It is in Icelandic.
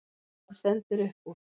Hvað stendur upp úr?